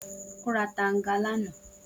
O ra tanga lana